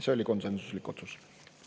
See oli konsensuslik otsus.